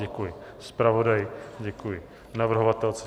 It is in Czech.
Děkuji zpravodaji, děkuji navrhovatelce.